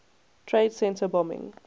trade center bombing